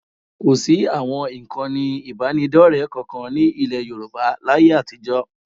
Kò sí àwọn ìkànnì ìbánidọ́rẹ kankan ní ilẹ̀ Yorùbá láyé àtijọ́